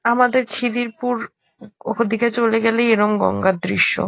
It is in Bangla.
আমাদের খিদিরপুর ওদিকে চলে গেলেই এরকম গঙ্গার দৃশ্য।